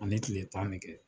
Ani kile tan de kɛ.